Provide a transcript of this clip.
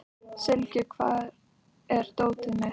Sylgja, hvar er dótið mitt?